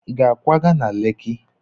Ị ga-akwaga na Leki?